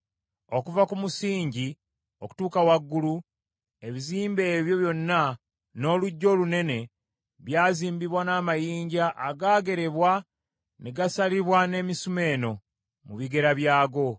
Okuva ku musingi okutuuka waggulu, ebizimbe ebyo byonna n’oluggya olunene, byazimbibwa n’amayinja agaagerebwa ne gasalibwa n’emisumeeno, mu bigera byago.